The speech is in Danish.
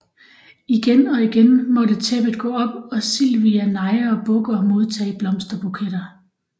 Igen og igen må tæppet gå op og Silvia neje og bukke og modtage blomsterbuketter